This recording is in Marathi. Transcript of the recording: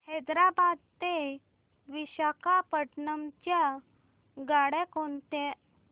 हैदराबाद ते विशाखापट्ण्णम च्या गाड्या कोणत्या